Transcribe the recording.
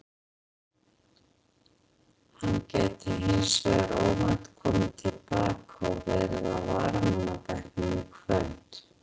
Hann gæti hins vegar óvænt komið til baka og verið á varamannabekknum í kvöld.